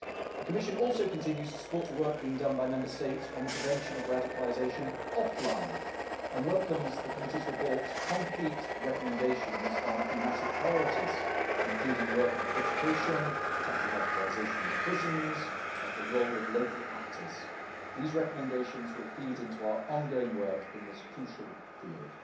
term. The Commission also continues to support work being done by Member States on the prevention of radicalisation offline, and welcomes the committee report's concrete recommendations on thematic priorities, including work on education, tackling radicalisation in prisons, and the role of local actors. These recommendations will feed into our ongoing work in this crucial